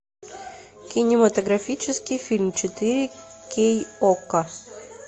кинематографический фильм четыре кей окко